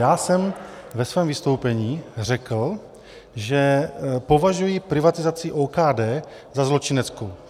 Já jsem ve svém vystoupení řekl, že považuji privatizaci OKD za zločineckou.